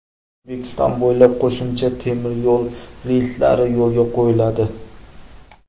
O‘zbekiston bo‘ylab qo‘shimcha temiryo‘l reyslari yo‘lga qo‘yiladi.